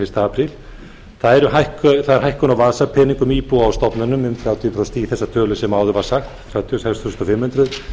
fyrsta apríl það er hækkun á vasapeningum íbúa á stofnunum um þrjátíu prósent í þessa tölu sem áður var sagt þrjátíu og sex þúsund fimm hundruð